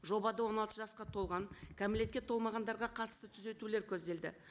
жобада он алты жасқа толған кәмелетке толмағандарға қатысты түзетулер көзделді